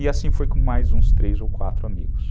E assim foi com mais uns três ou quatro amigos.